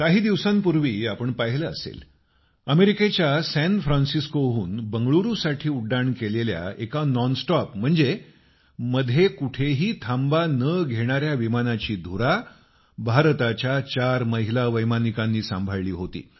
काही दिवसांपूर्वी आपण पाहिलं असेल अमेरिकेच्या सॅन फ्रान्सिस्कोहून बंगळुरू साठी उड्डाण केलेल्या एका नॉन स्टॉप विमानाची धुरा भारताच्या 4 महिला वैमानिकांनी सांभाळली होती